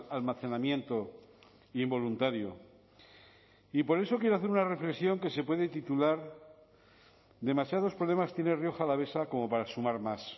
almacenamiento involuntario y por eso quiero hacer una reflexión que se puede titular demasiados problemas tiene rioja alavesa como para sumar más